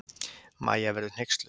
Mæja verður hneyksluð.